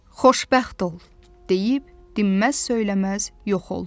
Xoşbəxt ol deyib, dinməz-söyləməz yox oldu.